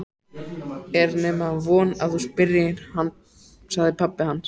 Er nema von að þú spyrjir, sagði pabbi hans.